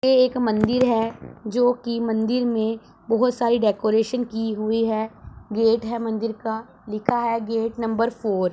ये एक मंदिर है जोकि मंदिर में बहोत सारी डेकोरेशन की हुई है गेट है मंदिर का लिखा है गेट नंबर फोर ।